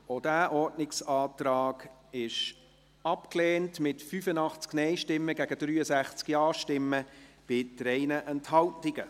Auch dieser Ordnungsantrag wurde abgelehnt, mit 85 Nein- zu 63 Ja-Stimmen bei 3 Enthaltungen.